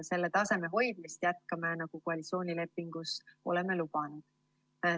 Selle taseme hoidmist jätkame, nagu koalitsioonilepingus oleme lubanud.